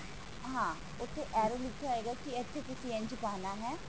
ਹਾਂ ਉੱਥੇ arrow ਲਿਖਿਆ ਹੋਏਗਾ ਕਿ ਇੱਥੇ ਤੁਸੀਂ ਇੰਜ ਪਾਨਾ ਹੈ